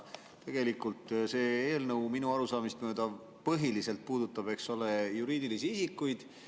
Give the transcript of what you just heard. Tegelikult see eelnõu minu arusaamist mööda põhiliselt puudutab, eks ole, juriidilisi isikuid.